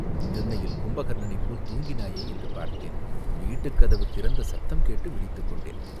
திண்ணையில் கும்பகர்ணனைப்போல் தூங்கினாயே என்று பார்த்தேன், வீட்டுக்கதவு திறந்த சத்தம் கேட்டு விழித்துக் கொண்டேன்.